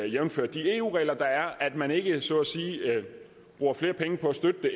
jævnfør de eu regler der er at man ikke så at sige bruger flere penge på at støtte det